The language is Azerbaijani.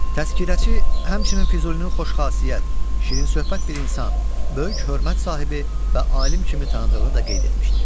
Təzkirəçi həmçinin Füzulinin xoşxasiyyət, şirinsöhbət bir insan, böyük hörmət sahibi və alim kimi tanıdığını da qeyd etmişdir.